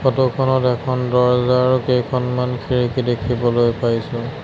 Photo খনত এখন দৰ্জা আৰু কেইখনমান খিৰিকী দেখিবলৈ পাইছোঁ।